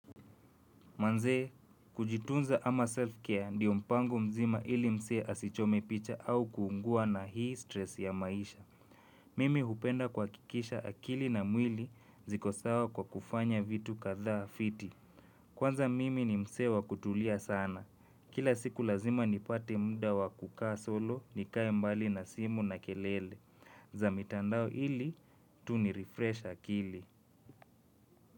Manzee, kujitunza ama self-care ndio mpango mzima ili mzee asichome picha au kuungua na hii stress ya maisha. Mimi hupenda kuhakikisha akili na mwili ziko sawa kwa kufanya vitu kadhaa fiti. Kwanza mimi ni mse wakutulia sana. Kila siku lazima nipate mda wakukaa solo, nikae mbali na simu na kelele. Zamitandao ili, tu nirefresh akili.